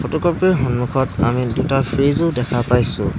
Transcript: Photocopy ৰ সন্মুখত আমি দুটা ফ্ৰিজো দেখা পাইছোঁ।